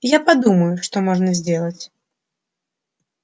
я подумаю что можно сделать